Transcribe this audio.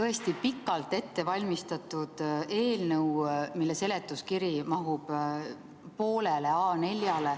See on pikalt ette valmistatud eelnõu, mille seletuskiri mahub poolele A4‑le.